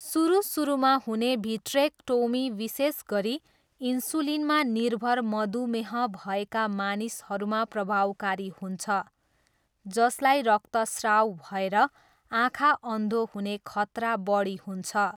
सुरु सुरुमा हुने भिट्रेकटोमी विशेष गरी इन्सुलिनमा निर्भर मधुमेह भएका मानिसहरूमा प्रभावकारी हुन्छ, जसलाई रक्तस्राव भएर आँखा अन्धो हुने खतरा बढी हुन्छ।